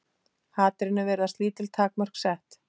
Hatrinu virðast lítil takmörk sett.